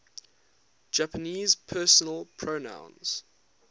japanese personal pronouns